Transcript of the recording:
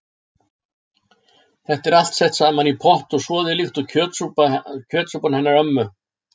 Þetta er allt sett saman í pott og soðið líkt og kjötsúpan hennar ömmu.